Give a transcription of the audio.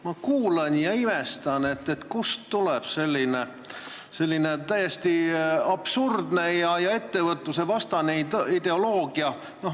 Ma kuulan ja imestan, kust tuleb selline täiesti absurdne ja ettevõtlusvastane ideoloogia.